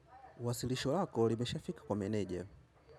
Wasilisho lako limeshaafika kwa meneja.